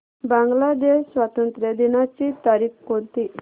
बांग्लादेश स्वातंत्र्य दिनाची तारीख कोणती